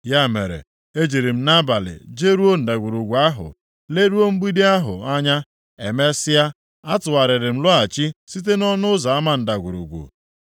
Ya mere, ejiri m nʼabalị jeruo ndagwurugwu ahụ, leruo mgbidi ahụ anya. Emesịa, atụgharịrị m lọghachi site nʼọnụ ụzọ Ama ndagwurugwu.